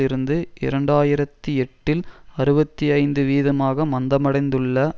இருந்து இரண்டு ஆயிரத்தி எட்டில் அறுபத்தி ஐந்து வீதமாக மந்தமடைந்துள்ள